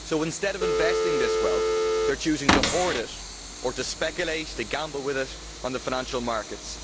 So instead of investing this wealth, they are choosing to hoard it or to speculate, to gamble with it on the financial markets.